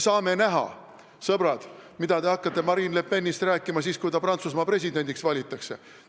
Saame näha, sõbrad, mida te hakkate Marine Le Penist rääkima siis, kui ta Prantsusmaa presidendiks valitakse.